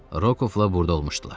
Rokovla burda olmuşdular.